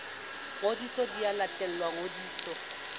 ngodiso di a latelwa ngodiso